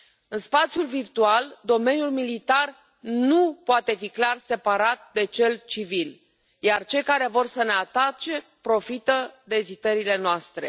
În spațiul virtual, domeniul militar nu poate fi clar separat de cel civil, iar cei care vor să ne atace profită de ezitările noastre.